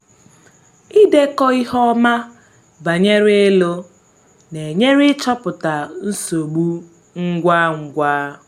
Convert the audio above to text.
ịdekọ ihe ọma banyere ịlụ na-enyere ịchọpụta nsogbu ngwa ngwa